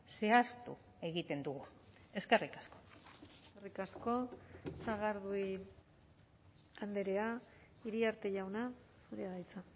zehaztu egiten dugu eskerrik asko eskerrik asko sagardui andrea iriarte jauna zurea da hitza